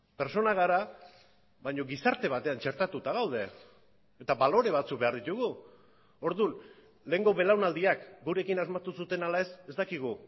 pertsona gara baina gizarte batean txertatuta gaude eta balore batzuk behar ditugu orduan lehengo belaunaldiak gurekin asmatu zuten ala ez ez dakigu